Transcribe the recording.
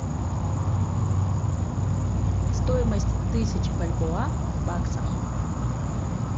стоимость тысяч бальбоа в баксах